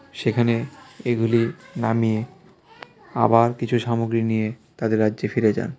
সেখানে এগুলি নামিয়ে আবার কিছু সামগ্রী নিয়ে তাদের রাজ্যে ফিরে যান .